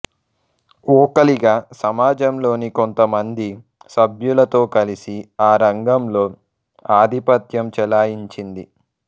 వోక్కలిగా సమాజంలోని కొంతమంది సభ్యులతో కలిసి ఆ రంగంలో ఆధిపత్యం చెలాయించింది